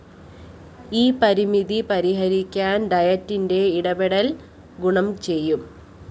ഈ പരിമിതി പരിഹരിക്കാന്‍ ഡയറ്റിന്റെ ഇടപെടല്‍ ഗുണം ചെയ്യും